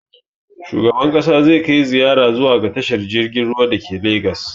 Shugaban ƙasa zai kai ziyara zuwa ga tashar jirgin ruwan da ke legas